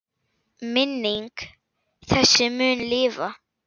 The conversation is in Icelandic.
Minning þessi mun lifa.